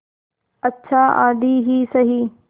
अच्छा आधी ही सही